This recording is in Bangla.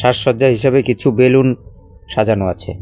সাজসজ্জা হিসাবে কিছু বেলুন সাজানো আছে।